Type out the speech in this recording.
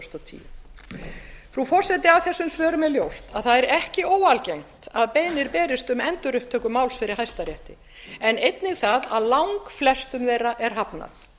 til tvö þúsund og tíu frú forseti af þessum svörum er ljóst að ekki er óalgengt að beiðnir berist um endurupptöku máls fyrir hæstarétti en einnig að langflestum þeirra er hafnað